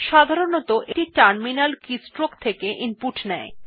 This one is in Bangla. সাধারনতঃ এটি টার্মিনাল কিস্ট্রোকস থেকে ইনপুট নেয়